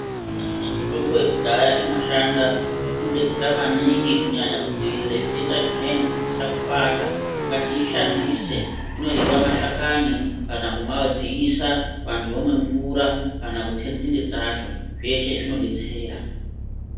Nyamashi mitombo yekudhaya inoshanda inodetsera maningi Kunyanya kudziirire zvitenda zvimweni kuti zvisakubata ngatiishandise inoryiwa mashakani kana kumadziisa vantu vomwe mvura kana kutse nzinde dzacho zveshe zvinodetsera.